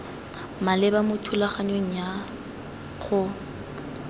maleba mo thulaganyong ya go